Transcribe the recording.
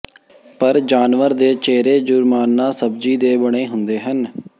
ਪਰ ਜਾਨਵਰ ਦੇ ਚਿਹਰੇ ਜੁਰਮਾਨਾ ਸਬਜ਼ੀ ਦੇ ਬਣੇ ਹੁੰਦੇ ਹਨ